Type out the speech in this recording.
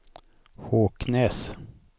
Håknäs